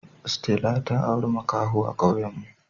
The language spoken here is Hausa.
Stella ta aure makaho a kawuen me